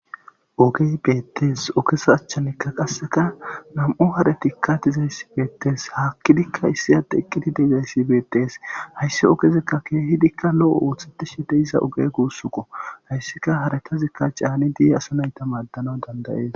Ogey beettes ogesa achchanikka qasseka nam'u haratikka dizayssibeetees haakkidikka issi adde eqqidi dezayssibeetes hayssi ogezekka keehidikka lo'o oothatishe deysza oge guussuko hayssika harakezikka caani di'e asa nayta maaddana dandayees